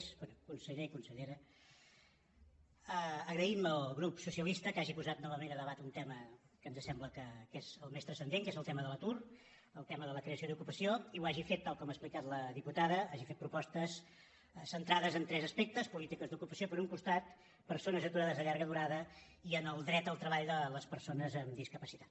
bé conseller i consellera agraïm al grup socialista que hagi posat novament a debat un tema que ens sembla que és el més transcendent que és el tema de l’atur el tema de la creació d’ocupació i ho hagi fet tal com ha explicat la diputada hagi fet propostes centrades en tres aspectes polítiques d’ocupació per un costat persones aturades de llarga durada i el dret al treball de les persones amb discapacitat